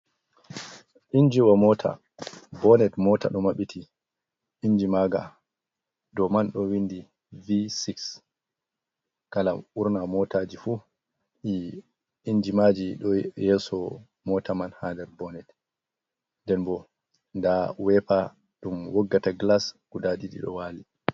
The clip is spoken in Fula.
Injiwa mota, bonet mota ďo mabbiti, inji mā nga dou man ďo windi v-six. Kala burna mōtāji fu inji māji ďo yeso mota man ha nder bonet, nden bo nda wepa dum woggata glas guda didi ďo wāli.